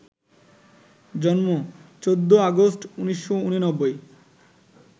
জন্ম ১৪ আগস্ট, ১৯৮৯